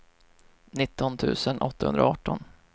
nitton tusen åttahundraarton